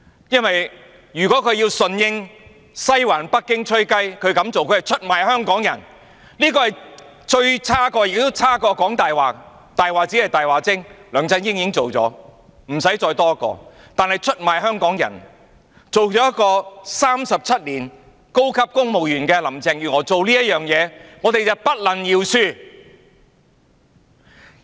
如果她要順應西環北京"吹雞"，她這樣做是出賣香港人，這是最差的，較"講大話"更差，"講大話"只是"大話精"，梁振英已經做了，無須再多一個；但出賣香港人，一個做了37年高級公務員的林鄭月娥這樣做，我們便不能饒恕。